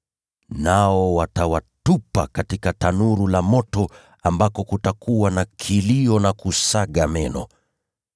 Nao watawatupa katika tanuru la moto ambako kutakuwa na kilio na kusaga meno.